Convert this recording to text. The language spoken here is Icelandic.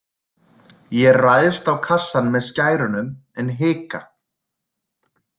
Ég ræðst á kassann með skærunum en hika.